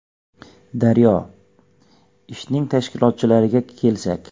“Daryo”: Ishning tashkilotchilariga kelsak.